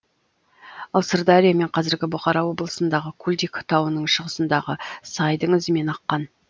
ал сырдария мен қазіргі бұхара облысындағы кулдик тауының шығысындағы сайдың ізімен аққан